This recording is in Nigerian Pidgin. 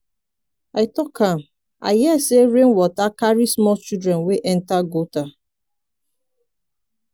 i talk am. i hear say rain water carry small children wey enter gutter.